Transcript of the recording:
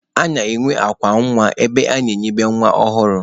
A na-enwe akwa nwa ebe a na-enibe nwa ọhụrụ.